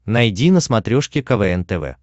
найди на смотрешке квн тв